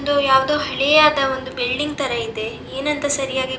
ಇದು ಯಾವ್ದೋ ಹಳೆಯದ ಒಂದು ಬಿಲ್ಡಿಂಗ್ ತರ ಇದೆ ಏನಂತ ಸರಿಯಾಗಿ ಗೊತ್ತಿಲ್ಲ-